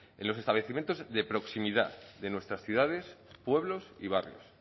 en los establecimientos de proximidad de nuestras ciudades pueblos y barrios